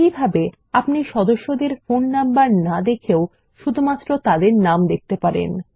এই ভাবে আপনি সদস্যদের ফোন নম্বর না দেখেও শুধুমাত্র তাদের নাম দেখতে পারেন